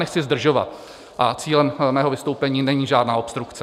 Nechci zdržovat a cílem mého vystoupení není žádná obstrukce.